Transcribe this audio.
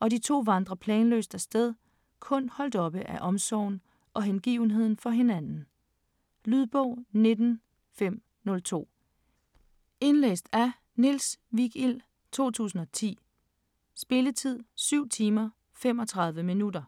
og de to vandrer planløst afsted, kun holdt oppe af omsorgen og hengivenheden for hinanden. Lydbog 19502 Indlæst af Niels Vigild, 2010. Spilletid: 7 timer, 35 minutter.